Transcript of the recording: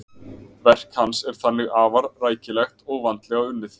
Verk hans er þannig afar rækilegt og vandlega unnið.